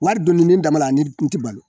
Wari donni ne dabali la ni n ti balo